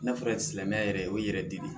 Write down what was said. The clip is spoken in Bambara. N'a fɔra silamɛya yɛrɛ o ye yɛrɛ dili